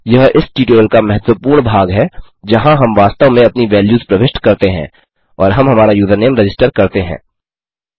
यह इस ट्यूटोरियल का महत्वपूर्ण भाग है जहाँ हम वास्तव में अपनी वैल्यूज़ प्रविष्ट करते हैं और हम हमारा यूज़रनेम रजिस्टर करते हैं